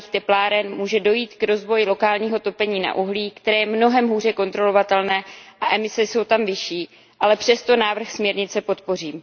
malých tepláren může dojít k rozvoji lokálního topení na uhlí, které je mnohem hůře kontrolovatelné a emise jsou tam vyšší, ale přesto návrh směrnice podpořím.